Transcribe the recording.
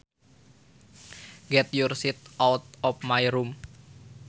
Get your shit out of my room